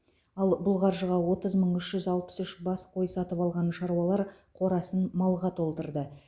ал бұл қаржыға отыз мың үш жүз алпыс үш бас қой сатып алған шаруалар қорасын малға толтырды